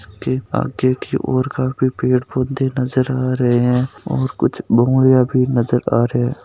आगे की ओर काफी पेड़ पौधे नजर आ रहे हैं और कुछ बोऊणल्या भी नजर आ रहे हैं।